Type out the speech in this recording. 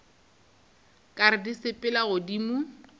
ka re di sepela godimo